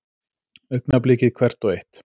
Augnablikið hvert og eitt.